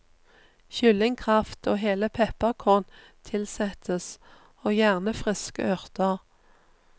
Kyllingkraft og hele pepperkorn tilsettes, og gjerne friske urter.